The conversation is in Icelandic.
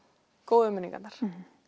góðu minningarnar